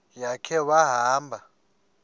ya khe wahamba